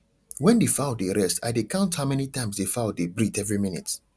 when the fowl dey rest i dey count how many times the fowl dey breathe every minute